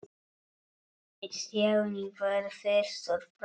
Stjáni varð fyrstur fram.